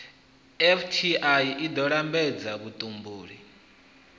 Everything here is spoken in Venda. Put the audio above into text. fti i ḓo lambedza vhutumbuli